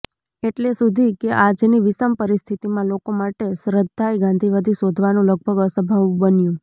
એટલે સુધી કે આજની વિષમ પરિસ્થિતિમાં લોકો માટે શ્રદ્ધાય ગાંધીવાદી શોધવાનું લગભગ અસંભવ બન્યું